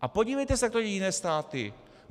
A podívejte se, jak to dělají jiné státy!